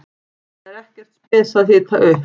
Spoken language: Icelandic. Það er ekkert spes að hita upp.